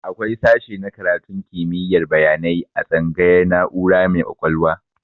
Akwai sashe na karatun kimiyar bayanai a tsangayar na'ura mai ƙwaƙwalwa